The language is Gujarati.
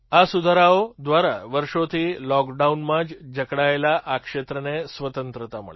આ સુધારાઓ દ્વારા વર્ષોથી લૉકડાઉનમાં જકડાયેલા આ ક્ષેત્રને સ્વતંત્રતા મળી